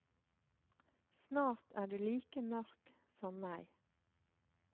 Snart er du like mørk som meg.